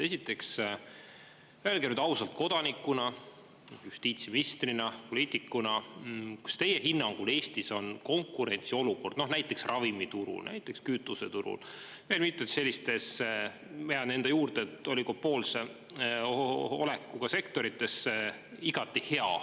Esiteks öelge nüüd ausalt kodanikuna, justiitsministrina, poliitikuna, kas teie hinnangul Eestis on konkurentsiolukord näiteks ravimiturul, näiteks kütuseturul, veel mitmes sellises, ma jään enda juurde, et oligopoolse olekuga sektorites igati hea.